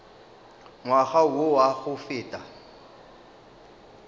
ngwaga wo wa go feta